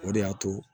O de y'a to